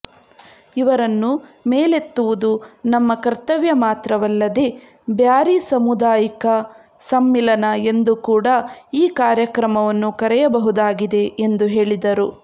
ಇವರನ್ನು ಮೇಲೆತ್ತುವುದು ನಮ್ಮ ಕರ್ತವ್ಯ ಮಾತ್ರವಲ್ಲದೇ ಬ್ಯಾರಿ ಸಾಮುದಾಯಿಕ ಸಮ್ಮಿಲನ ಎಂದು ಕೂಡಾ ಈ ಕಾರ್ಯಕ್ರಮವನ್ನು ಕರೆಯಬಹುದಾಗಿದೆ ಎಂದು ಹೇಳಿದರು